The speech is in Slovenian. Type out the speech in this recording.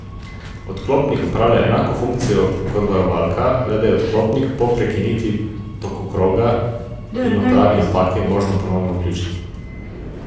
Odklopnik opravlja enako funkcijo kot varovalka, le da je odklopnik po prekinitvi tokokroga in odpravi napake možno ponovno vključiti.